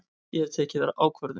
Ég hef tekið ákvörðun!